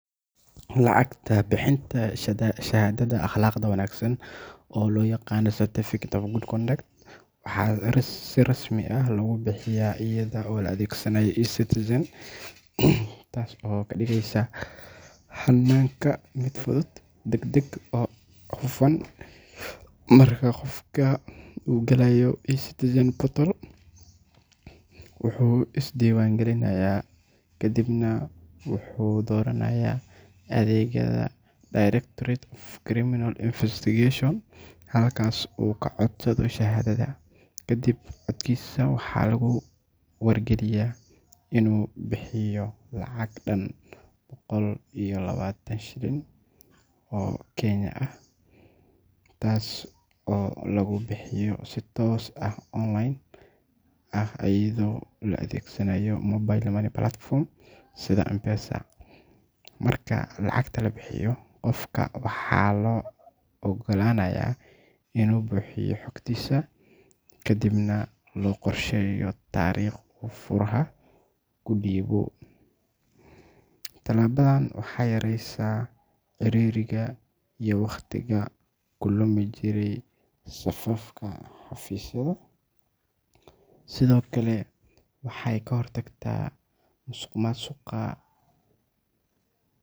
Lacag bixinta shahaadada akhlaaqda wanaagsan oo loo yaqaan Certificate of Good Conduct waxaa si rasmi ah loogu bixiyaa iyada oo la adeegsanayo Ecitizen, taas oo ka dhigaysa hannaanka mid fudud, degdeg ah oo hufan. Marka qofka uu galayo Ecitizen portal, wuxuu is diiwaangelinayaa ka dibna wuxuu dooranayaa adeegga Directorate of Criminal Investigations (DCI), halkaas oo uu codsado shahaadada. Kadib codsiga, waxaa lagu wargeliyaa inuu bixiyo lacag dhan boqol iyo labaatan shilin oo Kenyan ah (KES one hundred and twenty), taas oo lagu bixiyo si toos ah oo online ah iyadoo la adeegsanayo mobile money platforms sida M-Pesa. Marka lacagta la bixiyo, qofka waxaa loo oggolaanayaa inuu buuxiyo xogtiisa, ka dibna loo qorsheeyo taariikh uu faraha ka dhiibo. Tallaabadan waxay yareyneysaa ciriiriga iyo wakhtiga ku lumi jiray safafka xafiisyada. Sidoo kale waxay ka hortagtaa musuqmaasuqa.